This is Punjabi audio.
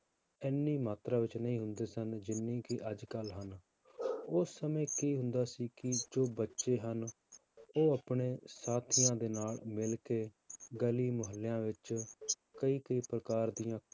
ਇੰਨੀ ਮਾਤਰਾ ਵਿੱਚ ਨਹੀਂ ਹੁੰਦੇ ਸਨ, ਜਿੰਨੀ ਕਿ ਅੱਜ ਕੱਲ੍ਹ ਹਨ ਉਸ ਸਮੇਂ ਕੀ ਹੁੰਦਾ ਸੀ ਕਿ ਜੋ ਬੱਚੇ ਹਨ, ਉਹ ਆਪਣੇ ਸਾਥੀਆਂ ਦੇ ਨਾਲ ਮਿਲ ਕੇ ਗਲੀ ਮੁਹੱਲਿਆਂ ਵਿੱਚ ਕਈ ਕਈ ਪ੍ਰਕਾਰ ਦੀਆਂ